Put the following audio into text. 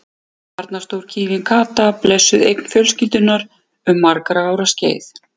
Þarna stóð kýrin Kata, blessuð eign fjölskyldunnar um margra ára skeið.